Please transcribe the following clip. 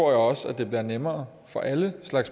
også det vil være nemmere for alle